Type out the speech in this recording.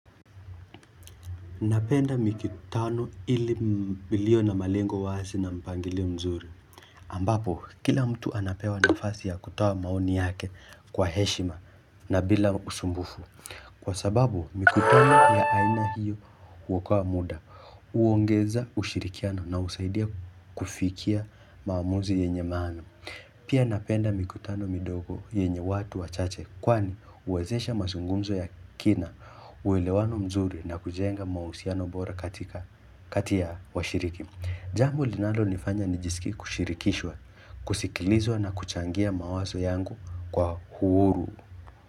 Napenda mikutano ilio na malengo wazi na mpangilio mzuri. Ambapo kila mtu anapewa nafasi ya kutoa maoni yake kwa heshima na bila usumbufu. Kwa sababu, mikutano ya aina hiyo huokoa muda, huongeza ushirikiano na husaidia kufikia maamuzi yenye maana. Pia napenda mikutano midogo yenye watu wachache kwani huwezesha mazungumzo ya kina, uelewano mzuri na kujenga mahusiano bora katika kati ya washiriki. Jambo linalonifanya nijisikie kushirikishwa, kusikilizwa na kuchangia mawazo yangu kwa uhuru.